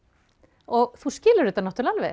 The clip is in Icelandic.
og þú skilur þetta náttúrulega alveg